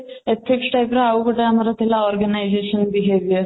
ethics type ର ଆମର ଆଉଗୋଟିଏ ଥିଲା organization behavior